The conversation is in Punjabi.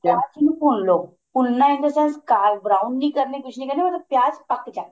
ਪਿਆਜ ਨੂੰ ਭੁੰਨ ਲੋ ਭੁੰਨਣਾ in the sense ਕਾ brown ਨੀਂ ਕਰਨੇ ਕੁੱਝ ਨੀਂ ਕਰਨੇ ਪਿਆਜ ਪੱਕ ਜਾਣ